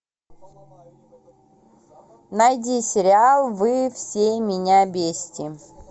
найди сериал вы все меня бесите